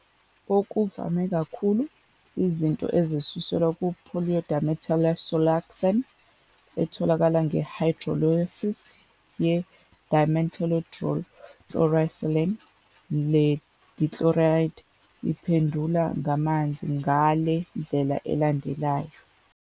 Okuvame kakhulu izinto ezisuselwa ku- polydimethylsiloxane, etholakala nge-hydrolysis ye- dimethyldichlorosilane. Le dichloride iphendula ngamanzi ngale ndlela elandelayo.